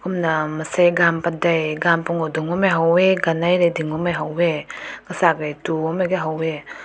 kumna mensai gun padai gun pungu dung bam meh ha weh ganaiding bam meh ha weh zak du bam mai ha weh.